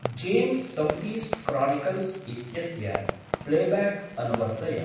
जेंस्‌ सौतीस्ट्‌ क्रानिकल्स् इत्यस्य प्लेब्याक् अनुवर्तय।